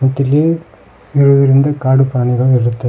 ಮತ್ತಿಲ್ಲಿ ಇರುವುದರಿಂದ ಕಾಡು ಪ್ರಾಣಿಗಳು ಇರುತ್ತವೆ.